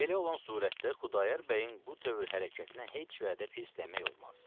Belə olan surətdə Xudayar bəyin bu tövr hərəkətinə heç sürətdə pis demək olmaz.